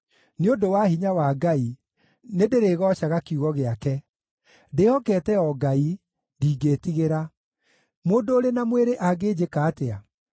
Nĩ ũndũ wa hinya wa Ngai, nĩndĩrĩgoocaga kiugo gĩake, ndĩhokete o Ngai; ndingĩĩtigĩra. Mũndũ ũrĩ na mwĩrĩ angĩnjĩka atĩa?